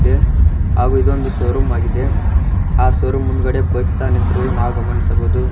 ಹಾಗೂ ಇದು ಒಂದು ಶೋ ರೂಮ್ ಆಗಿದೆ ಆ ಶೋ ರೂಮ್ ಮುಂದ್ಗಡೆ ಬೈಕ್ ಸಹ ನಿಂತಿರುವುದು ನಾವು ಗಮನಿಸಬಹುದು.